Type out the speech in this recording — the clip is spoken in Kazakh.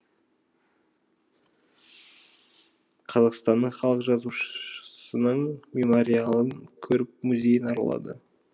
қазақстанның халық жазушысының мемориалын көріп музейін аралады